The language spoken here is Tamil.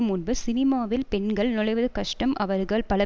முன்பு சினிமாவில் பெண்கள் நுழைவது கஷ்டம் அவர்கள் பல